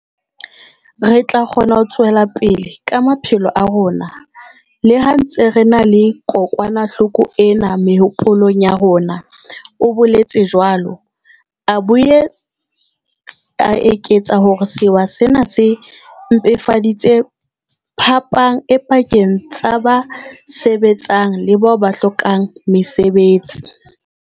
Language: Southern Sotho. Re tla kgona ho tswela pele ka maphelo a rona, le ha re ntse re na le kokwanahloko ena mehopolong ya rona, o boletse jwalo, a boetse a eketsa hore sewa sena se mpefaditse phapang e pakeng tsa ba sebetsang le bao ba hlokang mesebetsi.